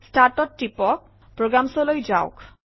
Start অত টিপক Programs অলৈ যাওক